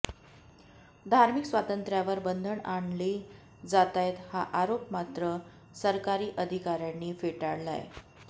धार्मिक स्वातंत्र्यावर बंधनं आणली जातायत हा आरोप मात्र सरकारी अधिकाऱ्यांनी फेटाळलाय